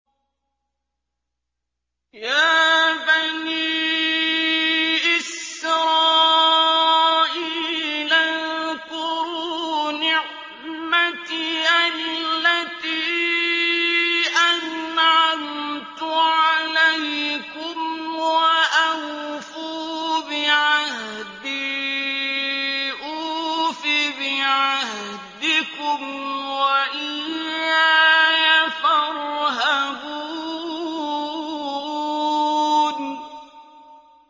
يَا بَنِي إِسْرَائِيلَ اذْكُرُوا نِعْمَتِيَ الَّتِي أَنْعَمْتُ عَلَيْكُمْ وَأَوْفُوا بِعَهْدِي أُوفِ بِعَهْدِكُمْ وَإِيَّايَ فَارْهَبُونِ